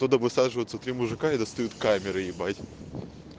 когда высаживаются три мужика и достают камеры ебать